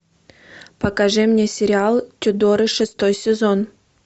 покажи мне сериал тюдоры шестой сезон